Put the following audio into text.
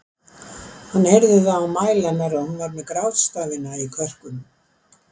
Hann heyrði það á mæli hennar að hún var með grátstafina í kverkunum.